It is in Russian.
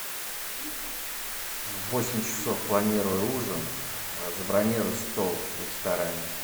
в восемь часов планирую ужин забронируй стол в ресторане